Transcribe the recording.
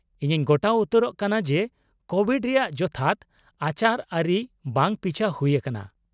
-ᱤᱧᱤᱧ ᱜᱚᱴᱟ ᱩᱛᱟᱹᱨᱚᱜ ᱠᱟᱱᱟ ᱡᱮ ᱠᱳᱵᱷᱤᱰ ᱨᱮᱭᱟᱜ ᱡᱚᱛᱷᱟᱛ ᱟᱪᱟᱨᱼᱟᱹᱨᱤ ᱵᱟᱝ ᱯᱤᱪᱷᱟᱹ ᱦᱩᱭ ᱟᱠᱟᱱᱟ ᱾